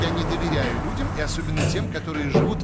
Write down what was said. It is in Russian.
я не доверяю людям и особенно тем которые живут